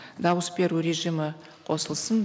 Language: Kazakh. дауыс беру режимі қосылсын